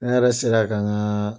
Ne yɛrɛ sera k'an ka